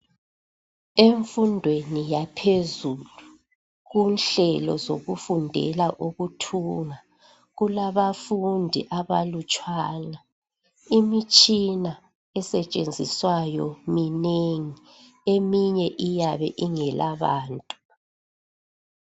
Emfundweni yaphezulu kunhlelo zokufundela ukuthunga kulabafundi abalutshwana imitshina esetshenziswayo minengi eminye iyabe ingela bantu